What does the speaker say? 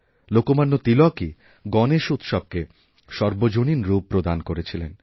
লোকমান্য তিলকই গণেশ উৎসবকে সর্বজনীন রূপ প্রদান করেছিলেন